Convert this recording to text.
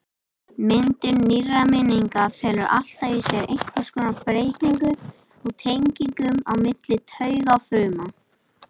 Myndun nýrra minninga felur alltaf í sér einhvers konar breytingu á tengingum á milli taugafruma.